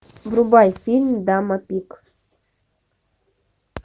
врубай фильм дама пик